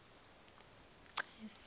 cesi